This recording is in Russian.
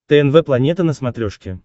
тнв планета на смотрешке